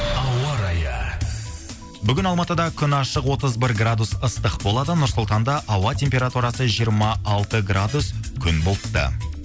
ауа райы бүгін алматыда күн ашық отыз бір градус ыстық болады нұр сұлтанда ауа температурасы жиырма алты градус күн бұлтты